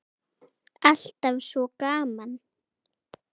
Alltaf svo gaman.